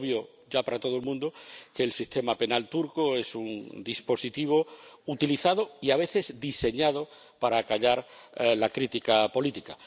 Es obvio, ya para todo el mundo, que el sistema penal turco es un dispositivo utilizado y, a veces, diseñado para acallar la crítica política.